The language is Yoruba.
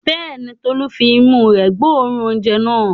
Bẹ́ẹ̀ ni, Tolú fi imú rẹ̀ gbóòórùn oúnjẹ náà.